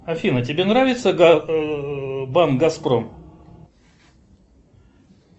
афина тебе нравится банк газпром